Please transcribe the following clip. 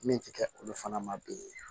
Min ti kɛ olu fana ma bilen